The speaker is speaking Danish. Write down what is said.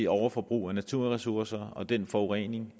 overforbrug af naturressourcer og den forurening